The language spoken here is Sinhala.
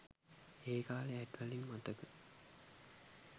ඒකාලේ ඇඩ් වලින් මතක